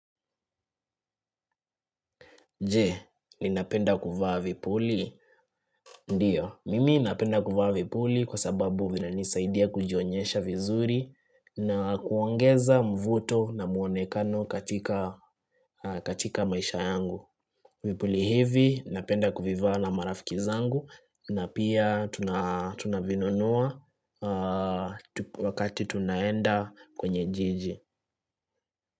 Je, ni napenda kufaa vipuli? Ndiyo, mimi napenda kufaa vipuli kwa sababu vina nisaidia kujionyesha vizuri na kuongeza mvuto na muonekano katika maisha yangu. Vipuli hivi napenda kufivaa na marafikizangu na pia tunavinunua wakati tunaenda kwenye jiji.